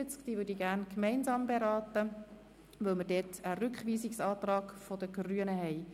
Diese möchte ich gerne gemeinsam beraten, weil dazu ein Rückweisungsantrag der Grünen vorliegt.